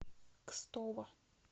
кстово